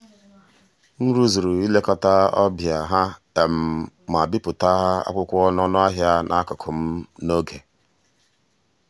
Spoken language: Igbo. m rụzuru ilekọta ọbịa ha ma bipụta akwụkwọ ọnụahịa n'akụkụ um n'oge.